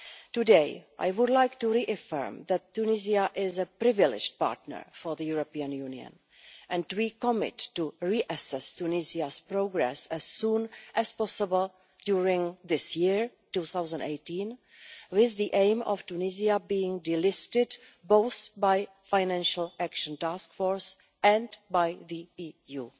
Today, I would like to reaffirm that Tunisia is a privileged partner for the European Union, and we commit to reassessing Tunisia's progress as soon as possible during this year of 2018, with the aim of Tunisia being de listed both by the Financial Action Task Force and by the EU.